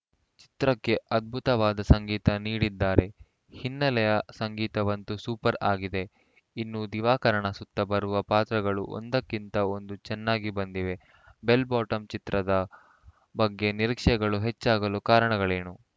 ಚಿತ್ರಕ್ಕೆ ಅದ್ಭುತವಾದ ಸಂಗೀತ ನೀಡಿದ್ದಾರೆ ಹಿನ್ನೆಲೆ ಸಂಗೀತವಂತೂ ಸೂಪರ್‌ ಆಗಿದೆ ಇನ್ನೂ ದಿವಾಕರನ ಸುತ್ತ ಬರುವ ಪಾತ್ರಗಳು ಒಂದಕ್ಕಿಂತ ಒಂದು ಚೆನ್ನಾಗಿ ಬಂದಿವೆ ಬೆಲ್‌ ಬಾಟಂ ಚಿತ್ರದ ಬಗ್ಗೆ ನಿರೀಕ್ಷೆಗಳು ಹೆಚ್ಚಾಗಲು ಕಾರಣಗಳೇನು